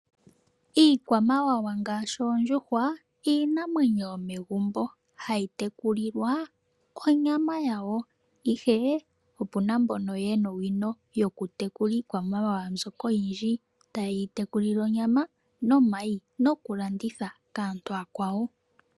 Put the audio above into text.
Iikwamawawa ngaashi oondjuhwa oyo iinamwenyo yomegumbo, hayi tekulilwa onyama yawo. Opuna aantu mboka yena owino yokutekula iikwamawawa mbyoka oyindji taye yi tekulile onyama nomayi, nokulanditha kaantu ooyakwawo.